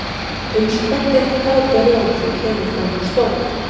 Uns kvöld eitt kát og rjóð þau keyrðu fram á stóð.